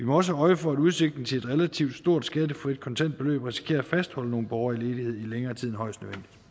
også øje for at udsigten til et relativt stort skattefrit kontantbeløb risikerer at fastholde nogle borgere i ledighed i længere tid end højst